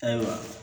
Ayiwa